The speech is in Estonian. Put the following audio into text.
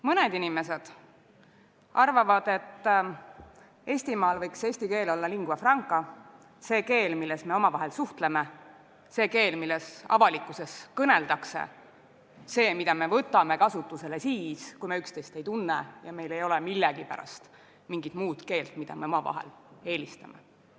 Mõned inimesed arvavad, et Eestimaal võiks eesti keel olla lingua franca – see keel, milles me omavahel suhtleme, see keel, milles avalikkuses kõneldakse, keel, mille me võtame kasutusele siis, kui me üksteist ei tunne ja meil ei ole millegipärast mingit muud keelt, mida me omavahel eelistame.